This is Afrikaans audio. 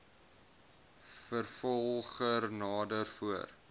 vervolger nader voor